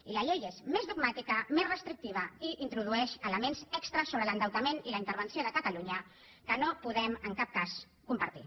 i la llei és més dogmàtica més restrictiva i introdueix elements extres sobre l’endeutament i la intervenció de catalunya que no podem en cap cas compartir